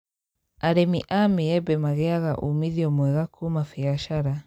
Arĩmi a maembe magĩaga umithio mwega kũma mbiacara